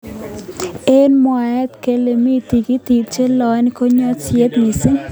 eng mwaet kele mi tikitik cheloen koo kanyoiset missing.